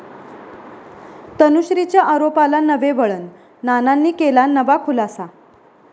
तनुश्रीच्या आरोपाला नवे वळण, नानांनी केला नवा खुलासा